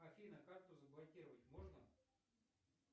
афина карту заблокировать можно